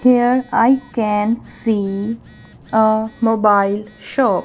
here I can see a mobile shop.